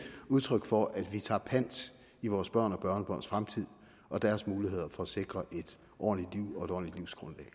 udtryk for at vi tager pant i vores børn og børnebørns fremtid og deres muligheder for at sikre et ordentligt liv og et ordentligt livsgrundlag